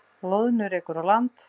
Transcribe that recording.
Loðnu rekur á land